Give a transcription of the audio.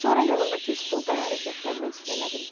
Sonra yanımdakı stolda hərəkətlənmə hiss elədim.